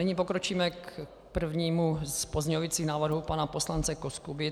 Nyní pokročíme k prvnímu z pozměňovacích návrhů pana poslance Koskuby.